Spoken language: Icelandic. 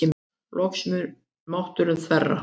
Loks mun mátturinn þverra.